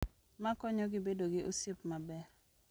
Ma konyogi bedo gi osiep maber